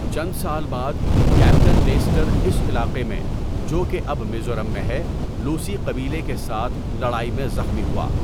چند سال بعد، کیپٹن لیسٹر اس علاقے میں، جو کہ اب میزورم ہے، لوسی قبیلے کے ساتھ لڑائی میں زخمی ہوا۔